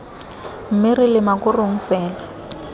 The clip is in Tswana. mme ra lema korong fela